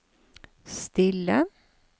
stille